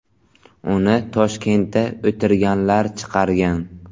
Uni Toshkentda o‘tirganlar chiqargan.